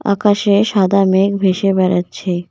আকাশে সাদা মেঘ ভেসে বেড়াচ্ছে।